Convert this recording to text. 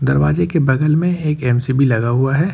दरवाजे के बगल में एक एम_सी_बी लगा हुआ है।